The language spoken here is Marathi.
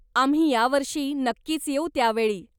आम्ही यावर्षी नक्कीच येऊ त्यावेळी.